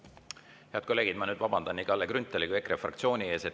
Head kolleegid, ma vabandan nii Kalle Grünthali kui ka EKRE fraktsiooni ees.